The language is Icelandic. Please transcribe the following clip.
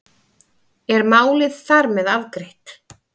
Er málið þar með afgreitt?